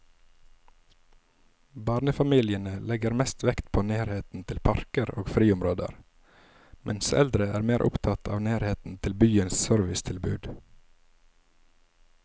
Barnefamiliene legger mest vekt på nærheten til parker og friområder, mens eldre er mer opptatt av nærheten til byens servicetilbud.